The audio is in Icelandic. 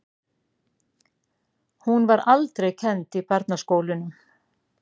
Hún var aldrei kennd í barnaskólunum.